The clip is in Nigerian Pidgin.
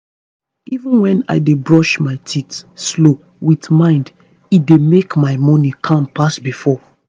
even when i dey brush my teeth slow with mind e dey make my morning calm pass before.